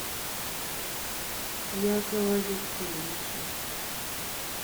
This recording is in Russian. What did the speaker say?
якова викторовича